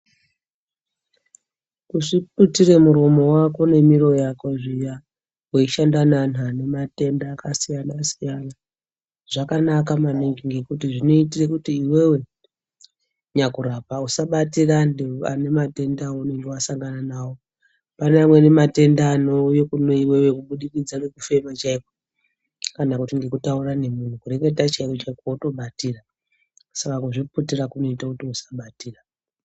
Kuzviputire muromo wako nemiro yako zviya ,weishanda neanhu ane matenda akasiyana-siyana ,zvakanaka maningi ngekuti zvinoitire kuti iwewe, nyakurapa usabatire antu, ane matenda aunenge wasangana nawo. Pane amweni matenda anouye kune iwewe kubudikidza ngekufema chaiko, kana kuti ngekutaura nemunhu. Kureketa chaiko-chaiko wotobatira .Saka kuzviputira kunoite kuti usabatira.